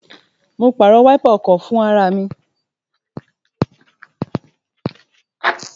Mo pàrọ̀ wáípà ọkọ̀ fún ara mi